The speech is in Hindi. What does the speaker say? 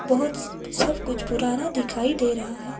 बहुत सब कुछ पुराना दिखाई दे रहा है।